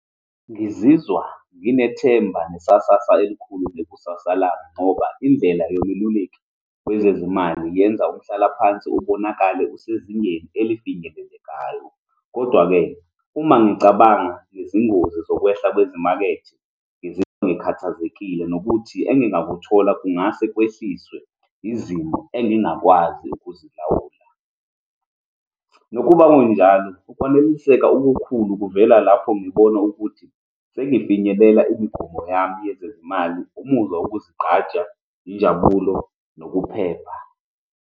Ngizizwa nginethemba nesasasa elikhulu ngekusasa lami, ngoba indlela yomeluleki kwezezimali yenza uhlale phansi, ubonakale usezingeni elifinyelelekayo. Kodwa-ke, uma ngicabanga ngezingozi zokwehla kwezimakethe, ngizizwa ngikhathazekile nokuthi engingakuthola kungase kwehliswe izimo engingakwazi ukuzilawula. Nokuba kunjalo, ukwaneliseka okukhulu kuvela lapho ngibone ukuthi sengifinyelela imigomo yami yezezimali, umuzwa wokuzigqaja, injabulo, nokuphepha.